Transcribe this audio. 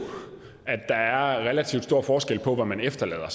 at der er relativt stor forskel på hvad man efterlader